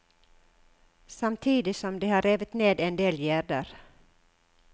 Samtidig som de har revet ned endel gjerder.